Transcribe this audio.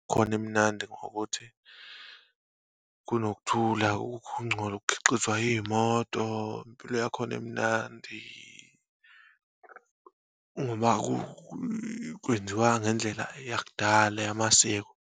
Khona imnandi ngokuthi kunokuthula, akukho ukungcola okukhixizwa iyimoto, impilo yakhona imnandi uma kwenziwa ngendlela eyakudala yamasiko.